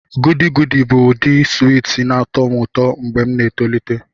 Goody goody bụ ụdị swiiti na-atọ m ụtọ mgbe m na-etolite.